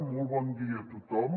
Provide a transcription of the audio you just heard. molt bon dia a tothom